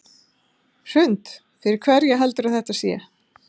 Hrund: Fyrir hverja heldurðu að þetta sé?